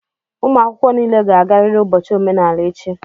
ụmụ akwụkwọ niile ga-agarịrị ụbọchị omenala echi!